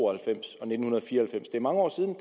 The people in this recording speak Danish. og halvfems det er mange år siden